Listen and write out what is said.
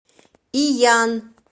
иян